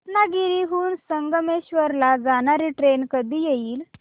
रत्नागिरी हून संगमेश्वर ला जाणारी ट्रेन कधी येईल